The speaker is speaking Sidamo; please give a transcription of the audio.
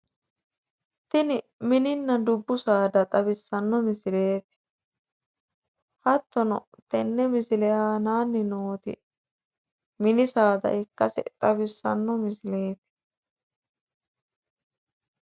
Tini mininna dubbu saada xawissanno misileeti. Hattono tenne misile aanaanni nooti mini saada ikkase xawissanno misileeti.